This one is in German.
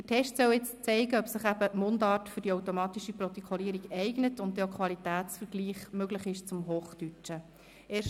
Der Test soll zeigen, ob sich die automatische Protokollierung für Mundart eignet, und er soll Qualitätsvergleiche zum Hochdeutschen erlauben.